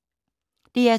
DR2